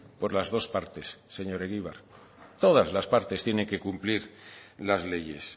por las dos partes señor egibar todas las partes tienen que cumplir las leyes